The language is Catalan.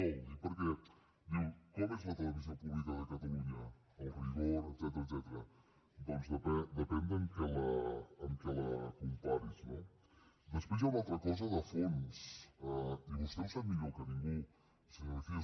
ho dic perquè diu com és la televisió pública de catalunya el rigor etcètera doncs depèn de amb què la comparis no després hi ha una altra cosa de fons i vostè ho sap millor que ningú senyor mejía